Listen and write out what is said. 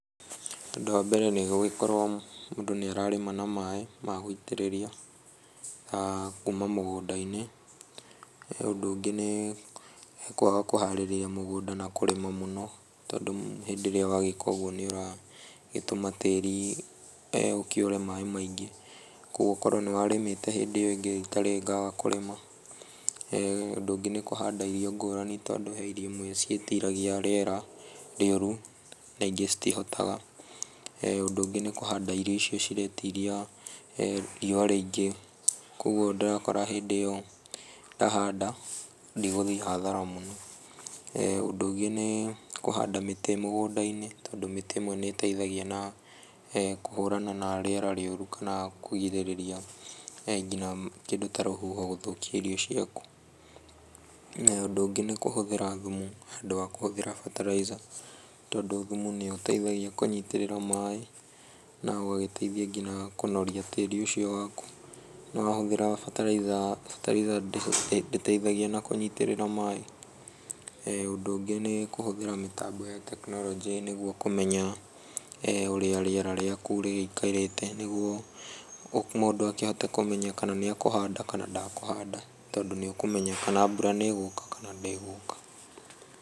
Ũndũ wa mbere nĩ gũgĩkorwo mũndũ nĩ ararĩma na maaĩ ma gũitĩrĩria aah kuma mũgũnda-inĩ. Ũndũ ũngĩ nĩ kwaga kũharĩria mũgũnda na kũrĩma mũno, tondũ hĩndĩ ĩrĩa wagĩka ũguo nĩ ũragĩtũma tĩri ũkĩũre maaĩ maingĩ. Koguo okorwo nĩ warĩmĩte hĩndĩ ĩyo ĩngĩ rita rĩrĩ ngaga kũrĩma. Ũndũ ũngĩ nĩ kũhanda irio ngũrani, tondũ he irio imwe ciĩtiragia rĩera rĩũru, na ingĩ citihotaga. Ũndũ ũngĩ nĩ kũhanda irio icio ciretĩiria rĩua rĩingĩ. Koguo ndĩrakora hĩndĩ ĩyo ndahanda ndigũthiĩ hathara mũno. Ũndũ ũngĩ nĩ kũhanda mĩtĩ mũgũnda-inĩ, tondũ mĩtĩ ĩmwe nĩ ĩĩteithagia na kũhũrana na rĩera rĩũru kana kũgirĩrĩria nginya kĩndũ ta rũhuho gũthũkia irio ciaku. Ũndũ ũngĩ nĩ kũhũthĩra thumu handũ wa kũhũthĩra fertiliser, tondũ thumu nĩ ũteithagia kũnyitĩrĩra maaĩ na ũgagĩteithia nginya kũnoria tĩri ũcio waku. No wahũthĩra bataraitha, bataraitha ndĩteithagia na kũnyitĩrĩra maaĩ. Ũndũ ũngĩ nĩ kũhũthĩra mĩtambo ya tekinoronjĩ, nĩguo kũmenya ũrĩa rĩera rĩaku rĩgĩikarĩte, nĩguo mũndũ akĩhote kũmenya kana nĩ ekũhanda kana ndakũhanda, tondũ nĩ ũkũmenya kana mbura nĩ ĩgũka kana ndĩgũka.